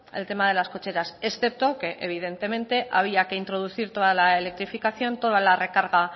el tema de las cocheras excepto que evidentemente había que introducir toda la electrificación toda la recarga